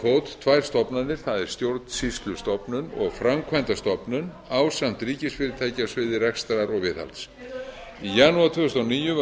fót tvær stofnanir það er stjórnsýslustofnun og framkvæmdastofnun ásamt ríkisfyrirtæki á sviði rekstrar og viðhalds í janúar tvö þúsund og níu var